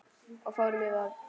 Og fórum í vörn.